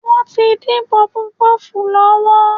Wọ́n tí ń dín pọfupọ́ọ̀fù lọ́wọ́